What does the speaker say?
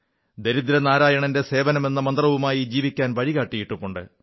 ദരിദ്രനാരായണന്റെ സേവനമെന്ന മന്ത്രവുമായി ജീവിക്കാൻ വഴികാട്ടിയിട്ടുണ്ട്